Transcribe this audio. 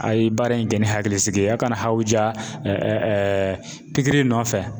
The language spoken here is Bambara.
A ye baara in kɛ ni hakilisigi ye a kana hawuja titiri nɔfɛ.